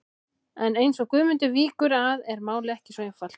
En eins og Guðmundur víkur að er málið ekki svo einfalt.